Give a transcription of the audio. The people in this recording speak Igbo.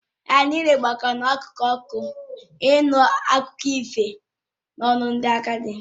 Anyị niile gbakọrọ n’akụkụ ọkụ ahụ ịnụ akụkọ ifo n’ọnụ ndị agadi